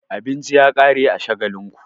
Abinci ya ƙare a Shagalinku.